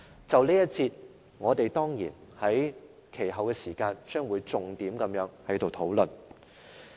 就着這一節，我們將會在其後時間再作重點討論。